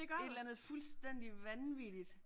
Et eller andet fuldstændig vanvittigt